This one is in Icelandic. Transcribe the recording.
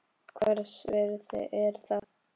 Hvers virði er það?